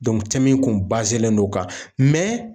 min kun len don o kan